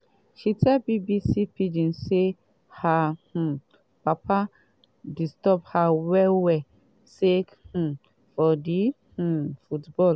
she tell bbc pidgin say her um papa disturb her well well sake um of di um football